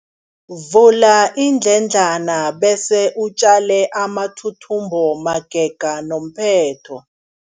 Vula iindledlana bese utjale amathuthumbo magega nomphetho.